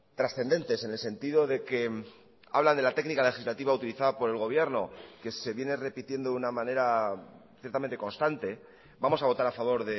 trascendentes en el sentido de que habla de la técnica legislativa utilizada por el gobierno que se viene repitiendo de una manera ciertamente constante vamos a votar a favor